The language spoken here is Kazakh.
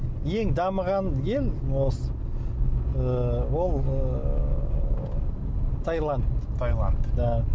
ең дамыған ел осы ы ол ыыы тайланд тайланд да